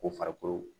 Ko farikolo